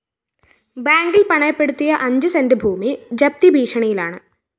ബാങ്കില്‍ പണയപ്പെടുത്തിയ അഞ്ച് സെന്റ് ഭൂമി ജപ്തി ഭീഷണിയിലാണ്